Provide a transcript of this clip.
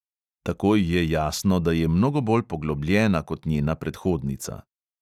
Takoj je jasno, da je mnogo bolj poglobljena kot njena predhodnica.